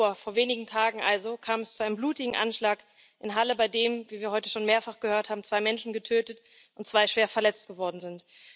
9. Oktober, vor wenigen Tagen also, kam es zu einem blutigen Anschlag in Halle, bei dem, wie wir heute schon mehrfach gehört haben, zwei Menschen getötet und zwei schwer verletzt worden sind.